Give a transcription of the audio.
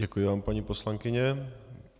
Děkuji vám, paní poslankyně.